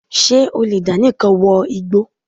Ṣé o lè dá nìkan wọ igbó?